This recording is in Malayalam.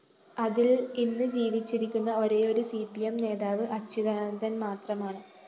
അതില്‍ ഇന്ന് ജീവിച്ചിരിക്കുന്ന ഒരേയൊരു സി പി എം നേതാവ് അച്യുതാനന്ദന്‍ മാത്രമാണ്